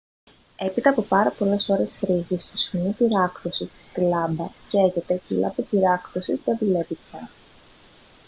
έπειτα από πάρα πολλές ώρες χρήσης το σχοινί πυράκτωσης στη λάμπα καίγεται και η λάμπα πυράκτωσης δεν δουλεύει πια